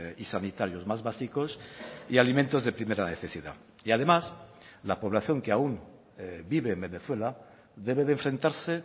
y sanitarios más básicos y alimentos de primera necesidad y además la población que aún vive en venezuela debe de enfrentarse